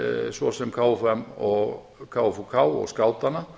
svo sem kfum og kfuk og skátanna